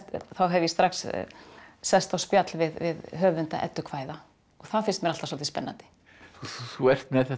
þá hef ég strax sest á spjall við höfunda eddukvæða og það finnst mér alltaf svolítið spennandi þú ert með þetta